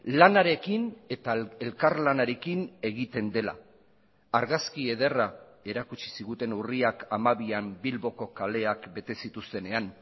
lanarekin eta elkarlanarekin egiten dela argazki ederra erakutsi ziguten urriak hamabian bilboko kaleak bete zituztenean